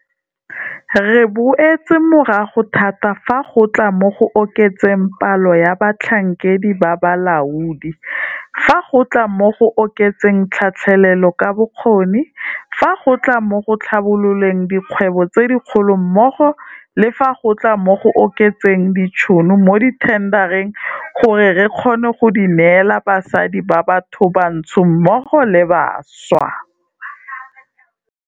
Re boetse morago thata fa go tla mo go oketseng palo ya batlhankedi ba balaodi, fa go tla mo go oketseng tlhatlhelelo ka bokgoni, fa go tla mo go tlhabololeng dikgwebo tse dikgolo mmogo le fa go tla mo go oketseng ditšhono mo dithendareng gore re kgone go di neela basadi ba bathobantsho mmogo le bašwa.